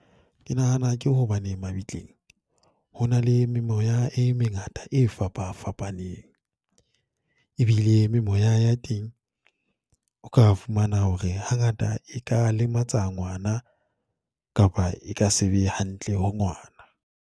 Ke nahana ke hobane mabitleng, ho na le memoya e mengata e fapafapaneng, e bile memoya ya teng, o ka fumana hore hangata e ka lematsa ngwana, kapa e ka se be hantle ho ngwana.